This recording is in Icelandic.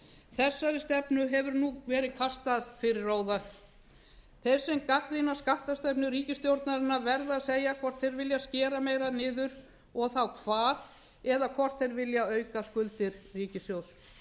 þessari stefnu hefur nú verið kastað fyrir róða þeir sem gagnrýna skattstefnu ríkisstjórnarinnar verða að segja hvort þeir vilja skera meira niður og þá hvar eða hvort þeir vilja auka skuldir ríkissjóðs